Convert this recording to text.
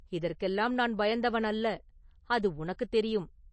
இதற்கெல்லாம் நான் பயந்தவன் அல்ல அது உனக்கு தெரியும்.